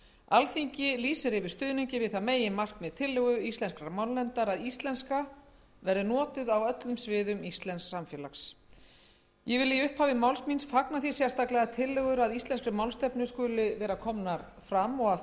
alþingi lýsir yfir stuðningi við það meginmarkmið tillögu íslenskrar málnefndar að íslenska verði notuð á öllum sviðum íslensks samfélags ég vil í upphafi máls míns fagna því sérstaklega að tillögur að íslenskri málstefnu skuli vera komnar fram og að